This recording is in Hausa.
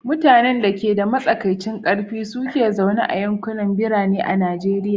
Mutanen da ke da matsakaicin ƙarfi su ke zaune a yankunan birane a Najeriya.